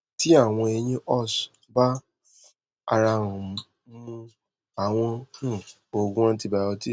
ti awọn eyin ous ba f arahan mu awọn um oogun antibiotics